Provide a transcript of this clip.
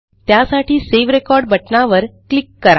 त्यासाठी सावे Recordबटणावर क्लिक करा